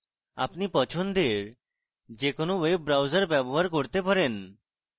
আপনি পছন্দের যে কোনো web browser ব্যবহার করতে পারেন